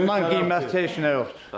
Ondan qiymətli heç nə yoxdur.